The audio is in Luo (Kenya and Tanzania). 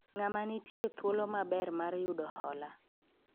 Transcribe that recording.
ng'ama nitie thuolo maber mar yudo hola?